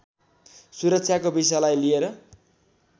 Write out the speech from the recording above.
सुरक्षाको विषयलाई लिएर